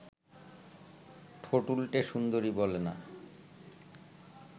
ঠোঁট উল্টে সুন্দরী বলে, না